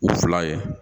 U fila ye